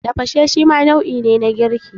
Tafashe shima nau'i ne na girki.